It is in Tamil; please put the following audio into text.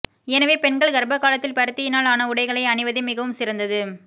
எனவே பெண்கள் கர்ப்ப காலத்தில் பருத்தியினால் ஆன உடைகளை அணிவதே மிகவும் சிறந்தது